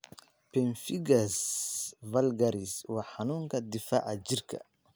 Pemphigus vulgaris waa xanuunka difaaca jirka.